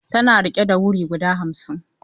Tana riƙe da wuri guda hamsin.